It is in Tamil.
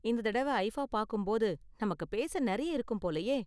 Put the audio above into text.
இந்த தடவ ஐஃபா பாக்கும் போது நமக்கு பேச நெறைய இருக்கும் போலயே.